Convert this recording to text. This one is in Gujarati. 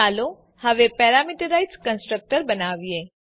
ચાલો હવે પેરામીટરાઈઝ કન્સ્ટ્રક્ટર બનાવીએ